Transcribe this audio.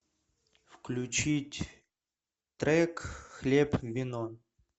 включить трек хлеб вино